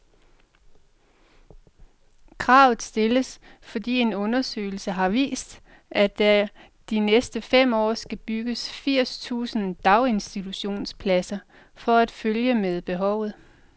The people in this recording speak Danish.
Kravet stilles, fordi en undersøgelse har vist, at der de næste fem år skal bygges firs tusind daginstitutionspladser for at følge med behovet.